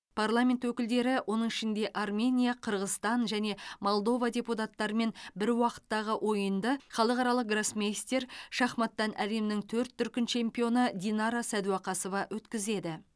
парламент өкілдері оның ішінде армения қырғызстан және молдова депутаттарымен бір уақыттағы ойынды халықаралық гроссмейстер шахматтан әлемнің төрт дүркін чемпионы динара сәдуақасова өткізеді